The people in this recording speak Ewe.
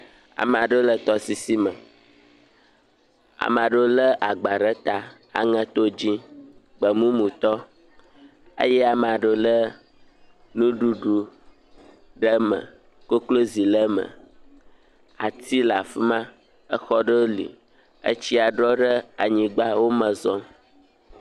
Amea ɖewo le tɔsisi me, amea ɖewo lé agba ɖe ta, aŋeto dze, gbemumu tɔ eye amea ɖewo lé nuɖuɖu ɖe me, koklozi le me, atiwo le afi ma, exɔ ɖewo li, etsia ɖɔ ɖe anyigba, wo me zɔm.